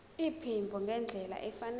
iphimbo ngendlela efanele